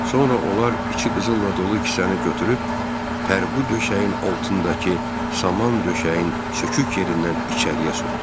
Sonra onlar içi qızılla dolu kisəni götürüb parqu döşəyin altındakı saman döşəyin sökük yerindən içəriyə soxdular.